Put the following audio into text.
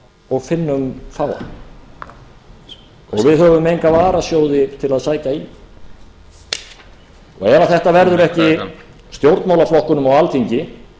og finnum fáa og við höfum enga varasjóði til að sækja í ef þetta verður ekki stjórnmálaflokkunum á alþingi